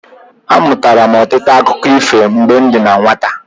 Amụtara m ọtụtụ akụkọ ifo mgbe m dị na nwata.